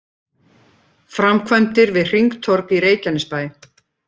Framkvæmdir við hringtorg í Reykjanesbæ